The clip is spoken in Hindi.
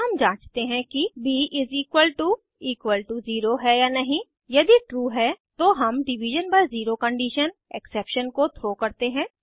फिर हम जांचते हैं कि ब 0 है या नहीं यदि ट्रू है तो हम division by zero condition exception को थ्रो करते हैं